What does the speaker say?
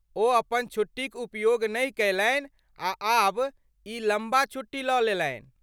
ओ अपन छुट्टीक उपयोग नहि कयलनि आ आब ई लम्बा छुट्टी लऽ लेलनि।